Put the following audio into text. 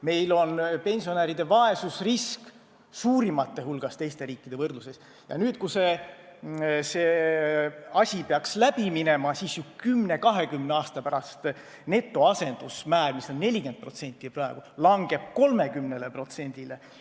Meil on pensionäride vaesusrisk teiste riikide võrdluses üks suurimaid ja kui see asi peaks läbi minema, siis 10–20 aasta pärast netoasendusmäär, mis on praegu 40%, langeb 30%-le.